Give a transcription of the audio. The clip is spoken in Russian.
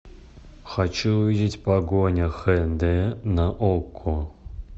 хочу увидеть погоня хэ дэ на окко